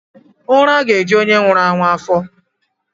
uraga-eju onye nwuru anwu afo.